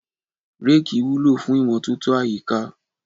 Reeki wúlò fún imọtoto àyíká.